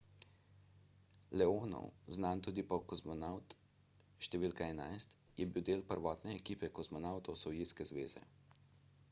leonov znan tudi kot kozmonavt št. 11 je bil del prvotne ekipe kozmonavtov sovjetske zveze